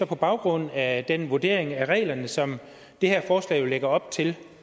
på baggrund af den vurdering af reglerne som det her forslag jo lægger op til